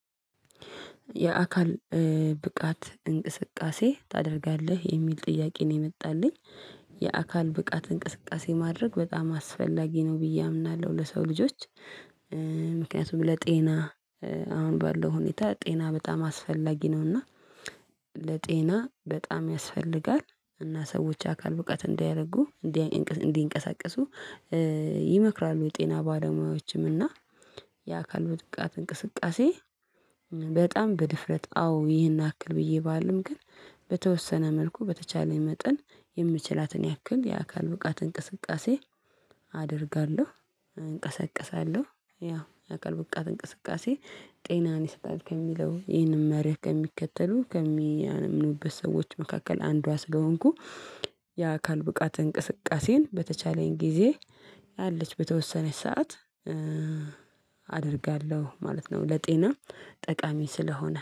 የአካል እ ብቃት እንቅስቃሴ ታደርጋለህ? የሚል ጥያቄ ነው የመጣልኝ። የአካል ብቃት እንቅስቃሴ ማድረግ በጣም አስፈላጊ ነው ብዬ አምናለው። ለሰው ልጆች ምክንያቱም ለጤና እ አሁን ባለው ሁኔታ ጤና በጣም አስፈላጊ ነውና ለጤና በጣም ያስፈልጋል። እና ሰዎች አካል ብቃት እንዲረጉ እንዴ እንቅስ እንዲቀሳቀሱ እ ይመክራሉ የጤና ባለሙያዎችም። እና የአካል ውድቃት እንቅስቃሴ በጣም በድፍረት አዎ ይህን አክል ብዬ ባልም። ግን በተወሰነ መልኩ በተቻለኝ መጠን የምችላትን ያክል የአካል ብቃት እንቅስቃሴ አደርጋለሁ፣ እንቀሳቀሳለው። ያው የአካል በቃት እንቅስቃሴ ጤናን ይሰጣል ከሚለው፣ ይሄንም መርህ ከሚከተሉ፣ ከሚያምኑበት ሰዎች መካከል አንዷ ስለሆንኩ የአካል ብቃት እንቅስቃሴን በተቻለኝ ጊዜ አለች በተወሰነች ሰዓት እ አደርጋለሁ ማለት ነው። ለጤና ጠቃሚ ስለሆነ።